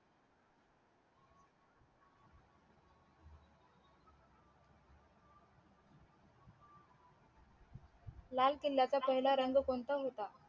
लाल किल्याचा पाहिलं रंग कोणता होता